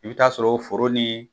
I bi taa sɔrɔ o foro ni